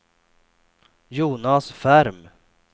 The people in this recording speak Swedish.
Jonas Ferm